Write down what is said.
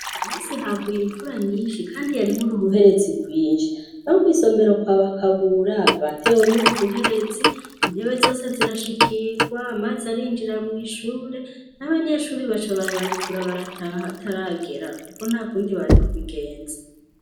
Umusi haguye imvura nyinshi, kandi yarimwo uruhuherezi rwinshi no kw'isomero kwa bakabura batewo n'uruhuherezi intebe zose zirashikirwa, maze arinjira mw'ishure n'abanyeshuri baca barabarekura barataha ataragera, kuko nta kundi bari kubigenza.